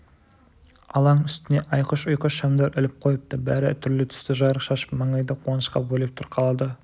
алаң үстіне айқыш-ұйқыш шамдар іліп қойыпты бәрі түрлі түсті жарық шашып маңайды қуанышқа бөлеп тұр қалада